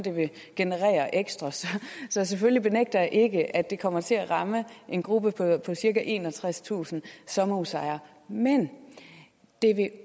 det vil generere ekstra så selvfølgelig benægter jeg ikke at det kommer til at ramme en gruppe på cirka enogtredstusind sommerhusejere men det vil